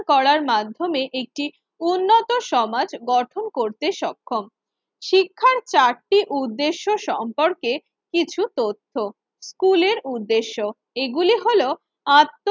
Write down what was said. করার মাধ্যমে একটি উন্নত সমাজ গঠন করতে সক্ষম। শিক্ষার চারটি উদ্দেশ্য সম্পর্কে কিছু তথ্য, স্কুলের উদ্দেশ্য এগুলি হলো আত্ম